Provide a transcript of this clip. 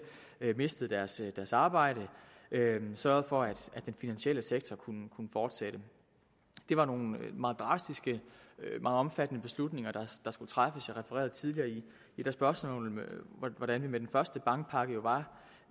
mistede deres arbejde sørgede for at den finansielle sektor kunne fortsætte det var nogle meget drastiske meget omfattende beslutninger der skulle træffes jeg refererede tidligere i et af spørgsmålene hvordan vi med den første bankpakke jo var